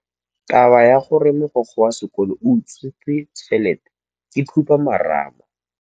Taba ya gore mogokgo wa sekolo o utswitse tšhelete ke khupamarama.